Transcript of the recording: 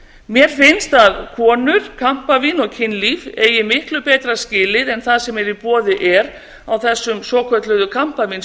mér finnst að konur kampavín og kynlíf eigi miklu betra skilið en það sem í boði er á þessum svokölluðu